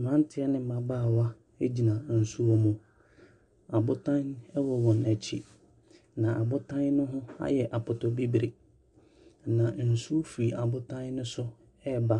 Mberantiɛ ne mbabaawa egyina nsuo mu. Ɔbotan ɛwɔ wɔn ekyi na abotan ne ho ayɛ apɔtɔbibire. Na nsuo firi abotan ne so ɛɛba.